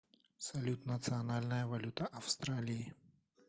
салют национальная валюта австралии